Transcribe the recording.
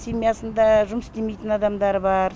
семьясында жұмыс істемейтін адамдар бар